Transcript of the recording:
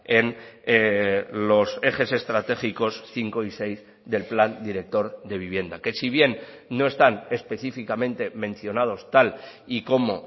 en los ejes estratégicos cinco y seis del plan director de vivienda que si bien no están específicamente mencionados tal y como